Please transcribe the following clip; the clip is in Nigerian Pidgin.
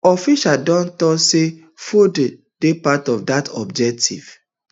officials don tok say fordo dey part of dat objective